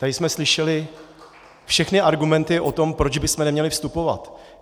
Tady jsme slyšeli všechny argumenty o tom, proč bychom neměli vstupovat.